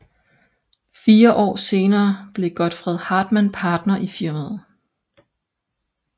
Fire år senere blev Godfred Hartmann partner i firmaet